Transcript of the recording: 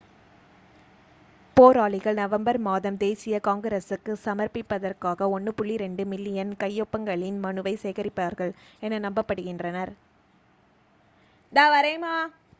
போராளிகள் நவம்பர் மாதம் தேசிய காங்கிரசுக்கு சமர்ப்பிப்பதற்கு 1.2 மில்லியன் கையொப்பங்களின் மனுவை சேகரிப்பார்கள் என நம்பப்படுகின்றனர்